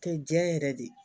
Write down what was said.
Kɛ jɛn yɛrɛ de ye